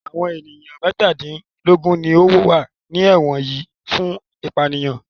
Àwọn ènìyàn mẹ́tàdínlógún ni wọ́n wà ní ẹ̀wọ̀n yìí fún ìpanìyàn.